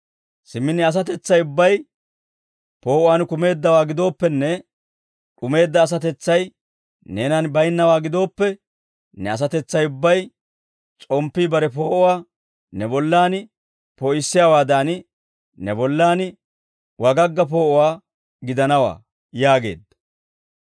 Simmi ne asatetsay ubbay poo'uwaan kumeeddawaa gidooppenne, d'umeedda asatetsay neenan baynnawaa gidooppe, ne asatetsay ubbay, s'omppii bare poo'uwaa ne bollan poo'issiyaawaadan, ne bollan wagagga poo'uwaa gidanawaa» yaageedda.